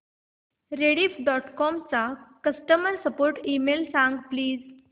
Rediff dot com चा customer support email सांग please